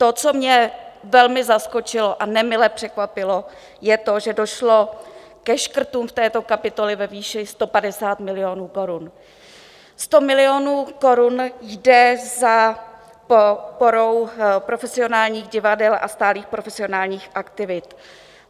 To, co mě velmi zaskočilo a nemile překvapilo, je to, že došlo ke škrtům v této kapitole ve výši 150 milionů korun, 100 milionů korun jde za podporou profesionálních divadel a stálých profesionálních aktivit.